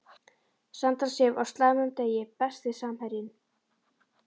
Sandra Sif á slæmum degi Besti samherjinn?